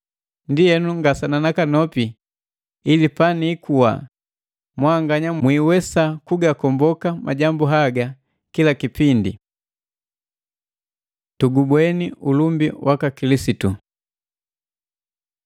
Ndienu, ngasana nakanopi ili paniikuwa mwanganya mwiiwesa kugakomboka majambu haga kila kipindi. Tugubweni ulumbi waka Kilisitu